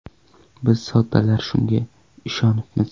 Biz soddalar shunga ishonibmiz.